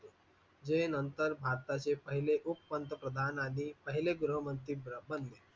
हे नंतर भारताचे पहिले उपपंतप्रधान आणि पहिले गृहमंत्री बनले.